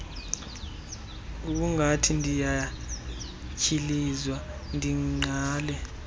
ngokungathi ndiyatyhilizwa ndingqale